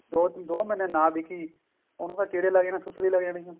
ਦੋ ਮਹੀਨੇ ਨਾ ਬਿਕੀ ਉਹਨੂੰ ਤਾਂ ਕੀੜੇ ਲੱਗ ਜਾਣੇ ਆ ਸੁੱਸਰੀ ਲੱਗ ਜਾਣੀ ਆ